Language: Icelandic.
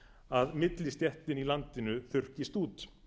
að millistéttin í landinu þurrkist út